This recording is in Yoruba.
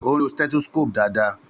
Ó ń lo stethoscope dáadáa.